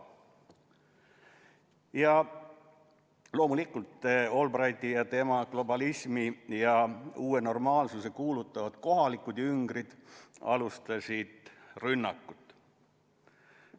Ja loomulikult Albrighti ja tema globalismi ja uut normaalsust kuulutavad kohalikud jüngrid alustasid rünnakut.